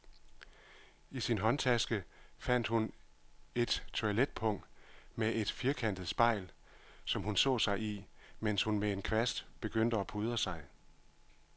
I sin håndtaske fandt hun et toiletpung med et firkantet spejl, som hun så sig i, mens hun med en kvast begyndte at pudre sig.